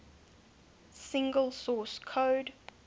single source code